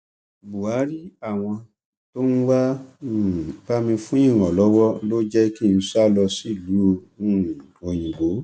buhari àwọn tó ń wáá um bá mi fún ìrànlọwọ ló jẹ kí n sá lọ sílùú um òyìnbó